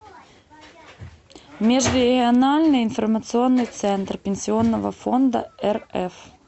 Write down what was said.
межрегиональный информационный центр пенсионного фонда рф